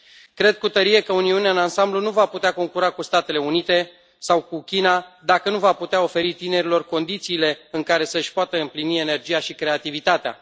Cred cu tărie că Uniunea în ansamblu nu va putea concura cu Statele Unite sau cu China dacă nu va putea oferi tinerilor condițiile în care să își poată împlini energia și creativitatea.